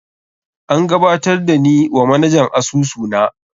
An gabatar da ni wa manajan asusu na.